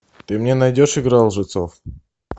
ты мне найдешь игра лжецов